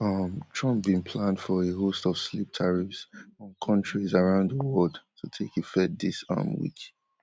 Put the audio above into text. um trump bin plan for a host of sleep tariffs on kontris around di world to take effect dis um week